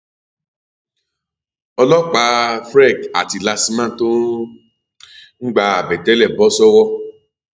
ọlọpàáfrec àti lastma tó um ń gba àbẹtẹlẹ bọ sọwọ